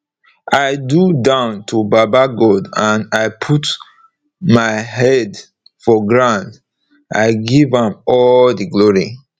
i do down to baba god and i put my head for ground i give am all the glory